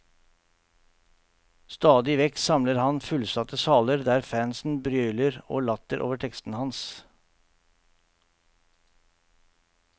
Stadig vekk samler han fullsatte saler der fansen brøler av latter over tekstene hans.